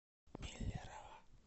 миллерово